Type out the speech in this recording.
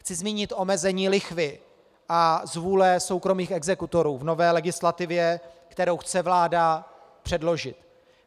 Chci zmínit omezení lichvy a zvůle soukromých exekutorů v nové legislativě, kterou chce vláda předložit.